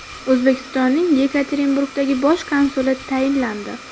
O‘zbekistonning Yekaterinburgdagi bosh konsuli tayinlandi.